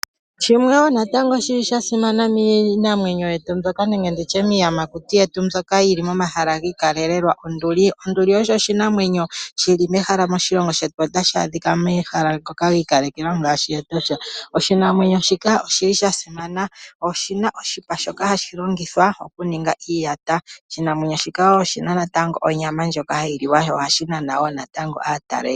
Shimwe sha simana miinamwenyo yetu mbyoka nenge nditye miiyamakuti yetu mbyoka yili momahala giikalekelwa onduli, onduli osho oshinamwenyo shili mehala moshilongo shetu, tashi adhika mehala lyi ikalekelwa ngaashi etosha, oshinamwenyo shika oshili sha simana oshina oshipa shoka hashi longithwa okuninga iiyata, oshinamwenyo shika natango oshina onyama ndjoka hayi li wa sho ohashi nana ishewe aatalelipo.